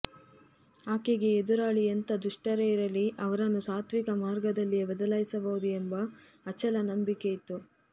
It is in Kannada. ಆಕೆಗೆ ಎದುರಾಳಿ ಎಂಥ ದುಷ್ಟರೇ ಇರಲಿ ಅವರನ್ನು ಸಾತ್ವಿಕ ಮಾರ್ಗದಲ್ಲಿಯೇ ಬದಲಾಯಿಸಬಹುದು ಎಂಬ ಅಚಲ ನಂಬಿಕೆಯಿತ್ತು